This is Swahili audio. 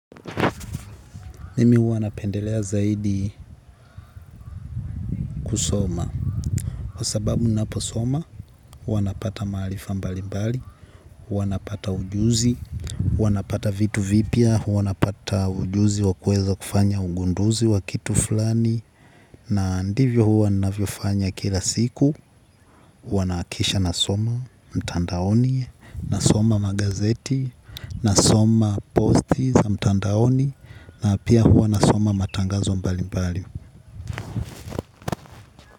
Mimi hua napendelea zaidi kusoma. Kwa sababu naposoma, huwa napata maalifa mbalimbali, huwa napata ujuzi, huwa napata vitu vipya, huwa napata ujuzi wa kuweza kufanya ugunduzi wa kitu fulani. Na ndivyo hua ninavyofanya kila siku, huwa naakisha nasoma mtandaoni, nasoma magazeti, nasoma posti za mtandaoni, na pia hua nasoma matangazo mbali mbali.